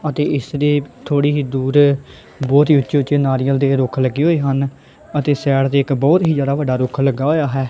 ਅਤੇ ਇਸ ਦੇ ਥੋੜੀ ਹੀ ਦੂਰ ਬਹੁਤ ਹੀ ਉੱਚੀ ਉੱਚੀ ਨਾਰੀਅਲ ਦੇ ਰੁੱਖ ਲੱਗੇ ਹੋਏ ਹਨ ਅਤੇ ਸਾਈਡ ਦੇ ਇੱਕ ਬਹੁਤ ਹੀ ਜਿਆਦਾ ਵੱਡਾ ਰੁੱਖ ਲੱਗਾ ਹੋਇਆ ਹੈ।